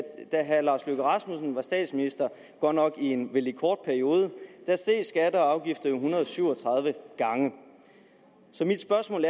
da herre lars løkke rasmussen var statsminister godt nok i en kort periode steg skatter og afgifter jo en hundrede og syv og tredive gange så mit spørgsmål